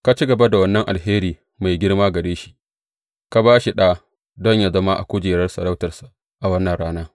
Ka ci gaba da wannan alheri mai girma gare shi, ka ba shi ɗa don yă zauna a kujerar sarautarsa a wannan rana.